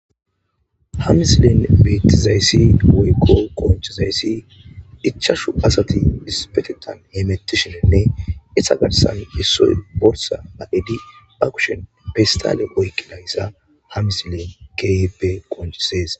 hamisilen beetizayssi woykko qonchizayssi ichashu asati dispetetan hemettishirenne isa garsan yessoy borsa a7edi ba kushen pistale oykki layssa hamisilen kipe qonchisees